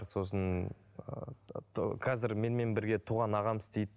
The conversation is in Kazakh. сосын ыыы қазір менімен бірге туған ағам істейді